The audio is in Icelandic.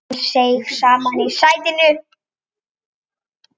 Ragnar seig saman í sætinu.